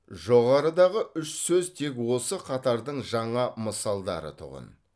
жоғарыдағы үш сөз тек осы қатардың жаңа мысалдары тұғын